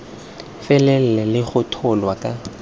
felele le go tsholwa ka